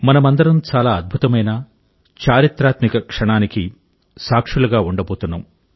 మనమందరం చాలా అద్భుతమైన చారిత్రాత్మక క్షణానికి సాక్షులుగా ఉండబోతున్నాం